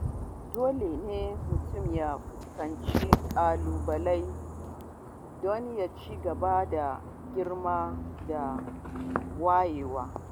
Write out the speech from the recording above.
Dole ne mutum ya fuskanci ƙalubale don ya ci gaba da girma da wayewa.